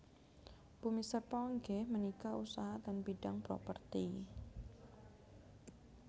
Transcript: Bumi Serpong inggih menika usaha ten bidang properti